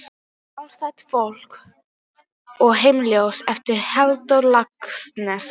Sjálfstætt fólk og Heimsljós eftir Halldór Laxness.